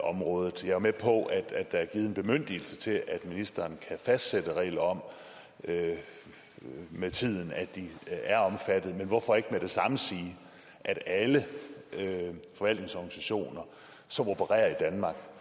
området jeg er med på at at der er givet en bemyndigelse til at ministeren kan fastsætte en regel om at de med tiden er omfattet men hvorfor ikke med det samme sige at alle forvaltningsorganisationer som opererer i danmark